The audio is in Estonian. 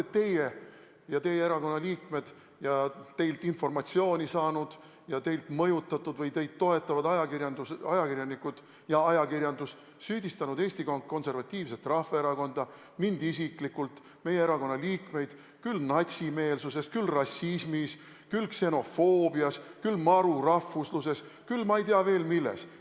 Kui palju olete teie ja teie erakonna liikmed ja teilt informatsiooni saanud ja teie mõjutatud või teid toetavad ajakirjanikud ja ajakirjandus süüdistanud Eesti Konservatiivset Rahvaerakonda, mind isiklikult ja meie erakonna liikmeid küll natsimeelsuses, küll rassismis, küll ksenofoobias, küll marurahvusluses, küll ma ei tea veel milles!